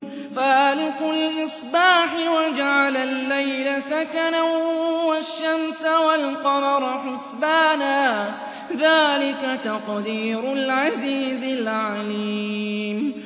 فَالِقُ الْإِصْبَاحِ وَجَعَلَ اللَّيْلَ سَكَنًا وَالشَّمْسَ وَالْقَمَرَ حُسْبَانًا ۚ ذَٰلِكَ تَقْدِيرُ الْعَزِيزِ الْعَلِيمِ